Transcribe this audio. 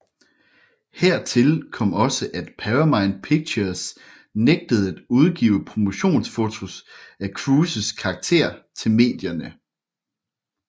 Hertil kom også at Paramount Pictures nægtede at udgive promotionsfotos af Cruises karakter til medierne